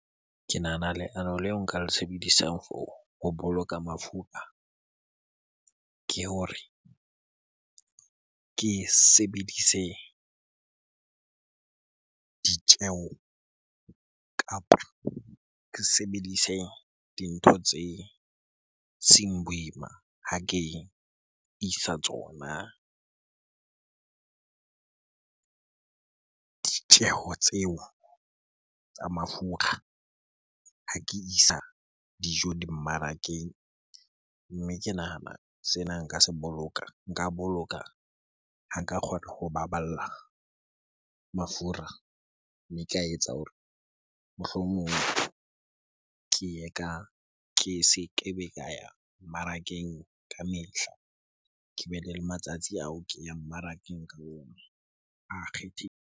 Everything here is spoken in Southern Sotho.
Ke nahana leano leo nka le sebedisang for ho boloka mafura ke hore ke sebedise ditjeho kapa ke sebedise dintho tse seng boima ha ke isa tsona ditjeho tseo tsa mafura, ha ke isa dijo di mmarakeng. Mme ke nahana sena nka se boloka, nka boloka ha ka kgona ho baballa mafura, mme ka etsa hore mohlomong ke ye ka, ke se kebe ka ya mmarakeng ka mehla. Kebe le matsatsi ao ke ya mmarakeng ka ona a .